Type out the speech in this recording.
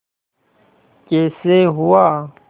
कैसे हुआ